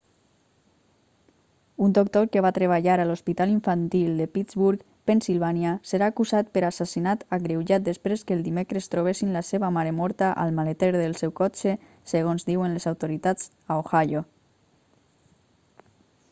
un doctor que va treballar a l'hospital infantil de pittsburgh pennsilvània serà acusat per assassinat agreujat després que el dimecres trobessin la seva mare morta al maleter del seu cotxe segons diuen les autoritats a ohio